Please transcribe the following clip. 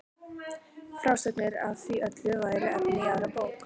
Frásagnir af því öllu væru efni í aðra bók.